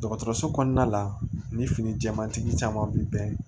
Dɔgɔtɔrɔso kɔnɔna la ni fini jɛmantigi caman bɛ bɛn